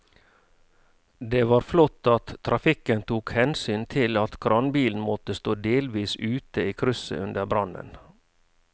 Det var flott at trafikken tok hensyn til at kranbilen måtte stå delvis ute i krysset under brannen.